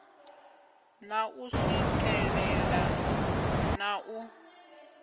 na u swikelea na u